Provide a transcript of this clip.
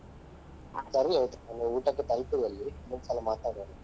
ಹ ಸರಿ ಆಯ್ತಾ ನನ್ಗೆ ಊಟಕ್ಕೆ ಅಲ್ಲಿ ಕಾಯ್ತಾ ಇದ್ದಾರೆ ಇನ್ನೊಂದ್ಸಲ ಮಾತಾಡುವ.